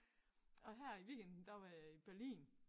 Og her i weekenden der var jeg i Berlin